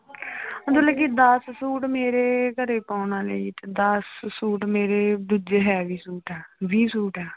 ਮਤਲਬ ਕਿ ਦਸ ਸੂਟ ਮੇਰੇ ਘਰੇ ਪਾਉਣ ਵਾਲੇ ਹੀ ਤੇ ਦਸ ਸੂਟ ਮੇਰੇ ਦੂਜੇ heavy ਸੂਟ ਆ ਵੀਹ ਸੂਟ ਆ।